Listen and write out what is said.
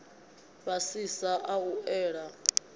a fhasisa a u ela